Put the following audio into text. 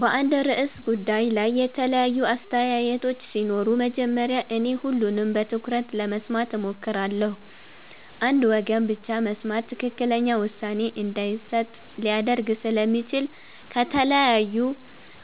በአንድ ርዕሰ ጉዳይ ላይ የተለያዩ አስተያየቶች ሲኖሩ መጀመሪያ እኔ ሁሉንም በትኩረት ለመስማት እሞክራለሁ። አንድ ወገን ብቻ መስማት ትክክለኛ ውሳኔ እንዳይሰጥ ሊያደርግ ስለሚችል ከተለያዩ